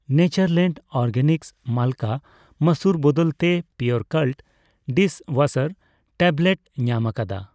Natureland Organics ᱢᱟᱞᱠᱟ ᱢᱟᱥᱩᱨ ᱵᱚᱫᱚᱞ ᱛᱮ ᱯᱤᱭᱳᱨᱠᱟᱞᱴ ᱰᱤᱥᱼᱳᱣᱟᱥᱟᱨ ᱴᱮᱵᱞᱮᱴ ᱧᱟᱢᱟᱠᱟᱫᱟ